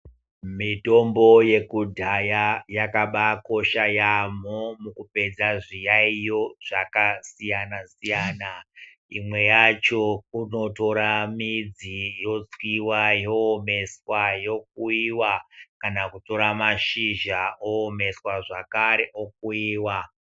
Mitombo yekudhaya yakabakosha yamho mukupedza zviyaiyo zvakasiyana siyana imwe yacho kunotora midzi yotswiwa, yoomeswa, yokuyiwa kana kutora mashizha oomeswa zvakare okuyiwa.